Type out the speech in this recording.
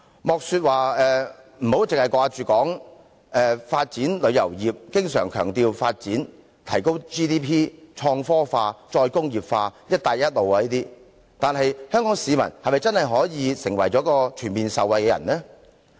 我們討論發展旅遊業，經常強調要發展、提高 GDP、創科化、再工業化和"一帶一路"等，但香港市民是否真的可全面受惠呢？